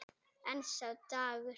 En sá dagur!